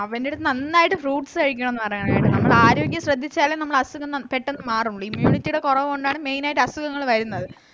അവൻറ്റടുത്തു നാന്നായിട്ട് fruits കഴിക്കണംന്ന് പറയനെറ്റോ നമ്മളാരോഗ്യം ശ്രദ്ധിച്ചാല് നമ്മളസുഖം നമ്മ പെട്ടന്ന് മാറുള്ളു ഇന്ന് immunity ടെ കൊറവൊണ്ടാണ് main ആയിട്ട് അസുഖങ്ങൾ വരുന്നത്